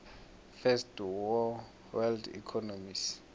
first world economies